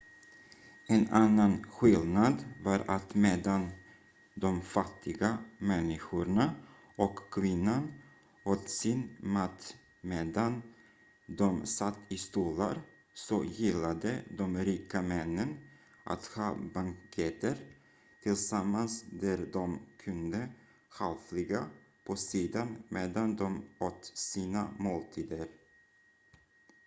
en annan skillnad var att medan de fattiga människorna och kvinnan åt sin mat medan de satt i stolar så gillade de rika männen att ha banketter tillsammans där de kunde halvligga på sidan medan de åt sina måltider